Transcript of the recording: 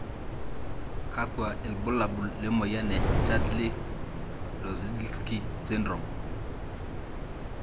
kakwa ilbulabul lemoyian e chudley Rozdilsky sydrome?